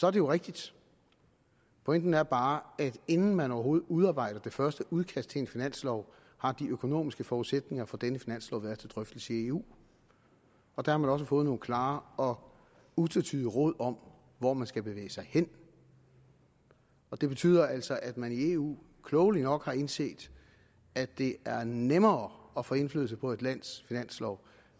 er jo rigtigt pointen er bare at inden man overhovedet udarbejder det første udkast til en finanslov har de økonomiske forudsætninger for denne finanslov været til drøftelse i eu og der har man også fået nogle klare og utvetydige råd om hvor man skal bevæge sig hen og det betyder altså at man i eu klogelig nok har indset at det er nemmere at få indflydelse på et lands finanslov